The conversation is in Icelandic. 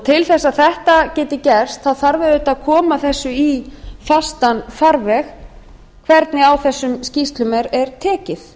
til þess að þetta geti gerst þarf auðvitað að koma þessu í fastan farveg hvernig á þessum skýrslum er tekið